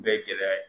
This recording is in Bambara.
Bɛɛ gɛlɛya ye